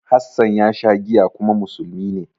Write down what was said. Hassan ya sha giya kuma musulmi ne.